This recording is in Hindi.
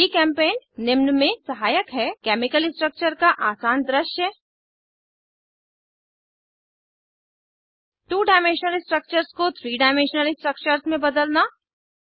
जीचेम्पेंट निम्न में सहायक है केमिकल स्ट्रक्चर्स का आसान दृश्य टू डायमेंशनल स्ट्रक्चर्स को थ्री डायमेंशनल स्ट्रक्चर्स में बदलना